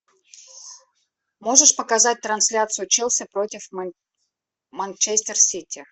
можешь показать трансляцию челси против манчестер сити